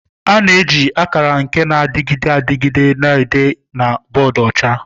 A na-eji akara nke na-adịgide adịgide na-ede na boodu ọcha.